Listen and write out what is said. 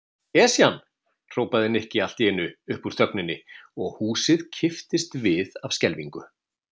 Esjan! hrópaði Nikki allt í einu upp úr þögninni og húsið kipptist við af skelfingu.